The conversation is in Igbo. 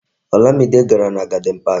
Olamide gàrà na Garden Park